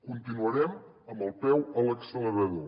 continuarem amb el peu a l’accelerador